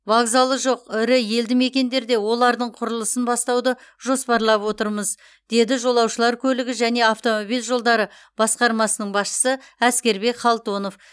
вокзалы жоқ ірі елді мекендерде олардың құрылысын бастауды жоспарлап отырмыз деді жолаушылар көлігі және автомобиль жолдары басқармасының басшысы әскербек халтонов